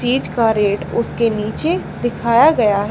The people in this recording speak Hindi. चीज का रेट उसके नीचे दिखाया गया--